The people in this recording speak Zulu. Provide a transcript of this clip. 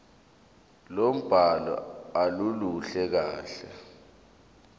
lombhalo aluluhle kahle